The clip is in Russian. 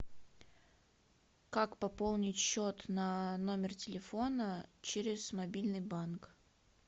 как пополнить счет на номер телефона через мобильный банк